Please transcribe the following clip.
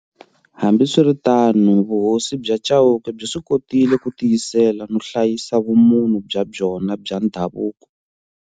Hambiswiritano, Vuhosi bya Chauke byi swi kotile ku tiyisela no hlayisa vumunhu bya byona bya ndhavuko.